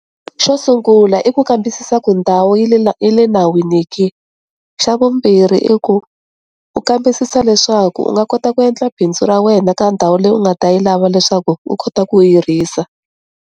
Xo sungula i ku kambisisa ku ndhawu yi le yi le nawini ke, xa vumbirhi i ku u kambisisa leswaku u nga kota ku endla bindzu ra wena ka ndhawu leyi u nga ta yi lava leswaku u kota ku hirisa.